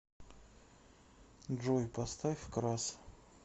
джой поставь крас